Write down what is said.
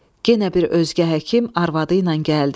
Yenə bir özgə həkim arvadı ilə gəldi.